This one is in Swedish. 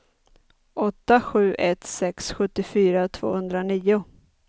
åtta sju ett sex sjuttiofyra tvåhundranio